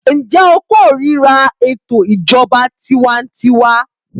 Ǹjẹ́ o kórira ètò ìjọba tiwańtiwa.